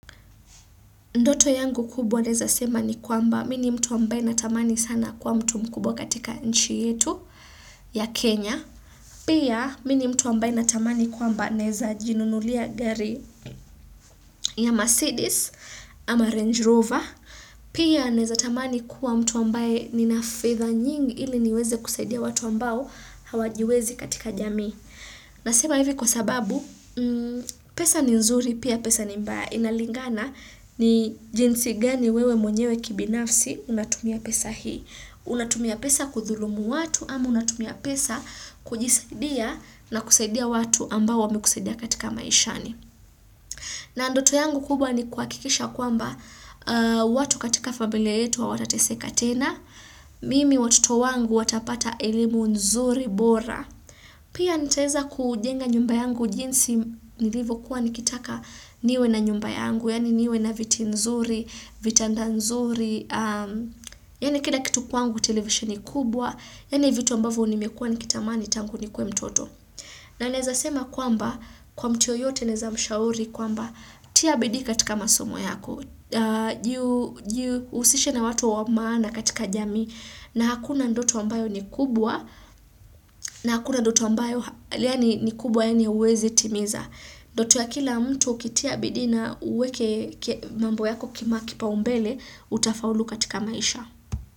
Ndoto yangu kubwa naeza sema ni kwamba mini mtu ambaye na tamani sana kuwa mtu mkubwa katika nchi yetu ya Kenya. Pia mini mtu ambaye na tamani kwa mba naeza jinunulia gari ya Mercedes ama Range Rover. Pia naeza tamani kwa mtu ambaye nina fedha nyingi ili niweze kusaidia watu ambao hawajiwezi katika jamii. Na sema hivi kwa sababu pesa ni nzuri pia pesa ni mbaya inalingana ni jinsi gani wewe mwenyewe kibinafsi unatumia pesa hii. Unatumia pesa kuthulumu watu amu unatumia pesa kujisaidia na kusaidia watu ambao wame kusaidia katika maishani. Na ndoto yangu kubwa ni kuha kikisha kwamba watu katika familia yetu wa hawatateseka tena, mimi watoto wangu watapata elimu nzuri bora. Pia nitaeza kujenga nyumba yangu jinsi nilivo kuwa nikitaka niwe na nyumba yangu, yani niwe na viti nzuri, vitanda nzuri, yani kila kitu kwangu televisioni kubwa, yani vitu ambavo nimekua nikitamani tangu nikuwe mtoto. Na naeza sema kwamba kwa mtu yoyote neza mshauri kwamba tia bidii katika masomo yako, jihusishe na watu wamana katika jamii na hakuna ndoto ambayo ni kubwa na hakuna ndoto ambayo yaani ni kubwa yaani hauwezi timiza. Ndoto ya kila mtu ukitia bidii na uweke mambo yako kima kipa umbele utafaulu katika maisha.